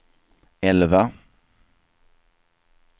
elva